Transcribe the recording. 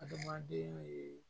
Adamaden ye